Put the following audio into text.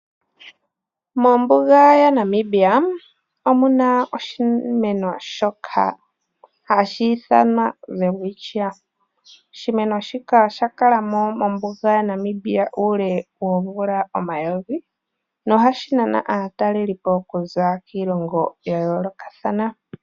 Mombuga yaNamibia omuna oshimeno shoka hashi ithanwa welwitshia. Oshimeno shika oshakala mo mombuga yaNamibia uule woomvula omayovi nohashi nana aatalelipo okuza kiilongo yayoolokathana.